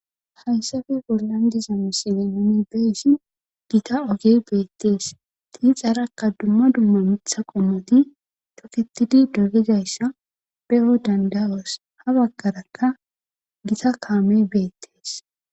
hayssafe bollandizami silenomi beysi gita ogey beettees tiixarakka dumma dumma mitha qommoti tofitidi dogedayssa pe7o dandalos ha baggarakka gita kaamey beettees